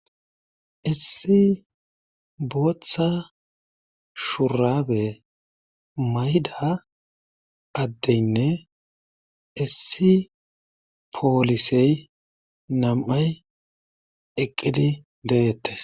Issi booththa shurabe mayida addenne issi polise namay eqidi de'etees